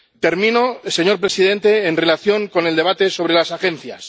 Termino, señor presidente, en relación con el debate sobre las agencias.